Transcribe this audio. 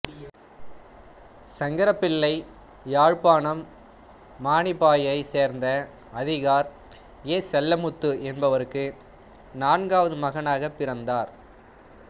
சங்கரப்பிள்ளை யாழ்ப்பாணம் மானிப்பாயைச் சேர்ந்த அதிகார் ஏ செல்லமுத்து என்பவருக்கு நான்காவது மகனாகப் பிறந்தார்